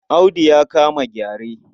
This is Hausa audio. Audu ya kama gyare.